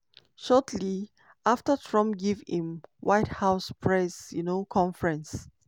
shortly afta trump give im white house press um conference